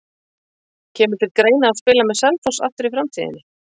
Kemur til greina að spila með Selfoss aftur í framtíðinni?